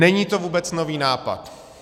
Není to vůbec nový nápad.